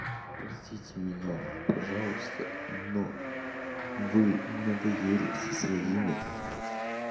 простите меня пожалуйста но вы надоели со своими